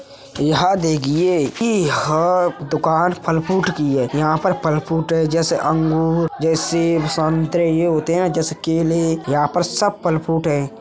यहां देगिए की ह दुकान फल-फ्रूट की है। यहाँ पर फल-फ्रूट जैसे अंगूर जैसे संतरे ये होते हैं न जैसे केले यहाँ पर सब फल फ्रूट हैं।